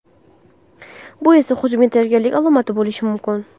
Bu esa hujumga tayyorgarlik alomati bo‘lishi mumkin.